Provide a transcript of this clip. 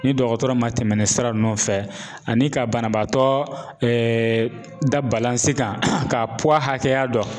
Ni dɔgɔtɔrɔ ma tɛmɛ nin sira nunnu fɛ ani ka banabaatɔ da kan ka hakɛya dɔn .